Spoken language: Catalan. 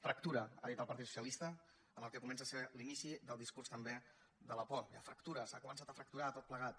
fractura ha dit el partit socialista en el que comença a ser l’inici del discurs també de la por hi ha fractura s’ha començat a fracturar tot plegat